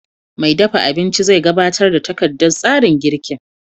Mai dafa abinci zai gabatar da takardar tsarin girkin